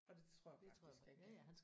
Og det tror jeg faktisk han kan